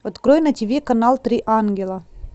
открой на тв канал три ангела